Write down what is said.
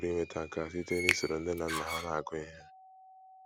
Ha pụrụ inweta nke a site n’isoro nne na nna ha na - agụ ihe. ”